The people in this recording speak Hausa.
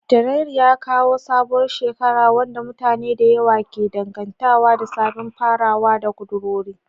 Janairu ya kawo sabuwar shekara, wadda mutane da yawa ke dangantawa da sabbin farawa da kudurori.